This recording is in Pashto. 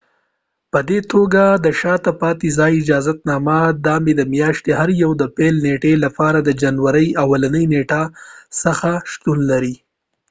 په دي توګه د شاته پاتی ځای اجازت نامه د مۍ د میاشتی د هر یوې د پیل نیټی لپاره د جنوری د اولی نیټی څخه شتون لري